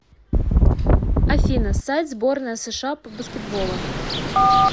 афина сайт сборная сша по баскетболу